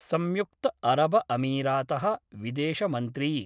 संयुक्तअरबअमीरात: विदेशमन्त्री